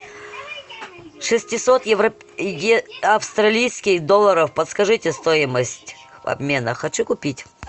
шестьсот австралийских долларов подскажите стоимость обмена хочу купить